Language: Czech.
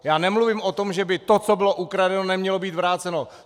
Já nemluvím o tom, že by to, co bylo ukradeno, nemělo být vráceno!